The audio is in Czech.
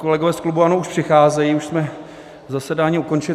kolegové z klubu ANO už přicházejí, už jsme zasedání ukončili.